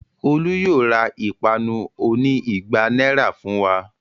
Olú yóò ra ìpanu oní igba náírà fún wa.